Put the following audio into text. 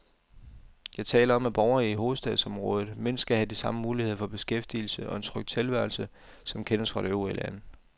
Jeg taler om, at borgerne i hovedstadsområdet mindst skal have de samme muligheder for beskæftigelse og en tryg tilværelse, som kendes fra det øvrige land.